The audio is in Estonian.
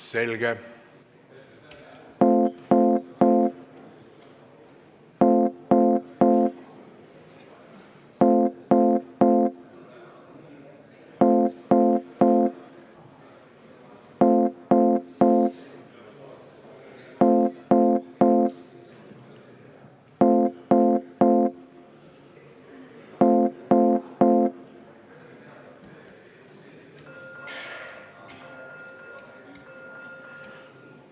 Selge.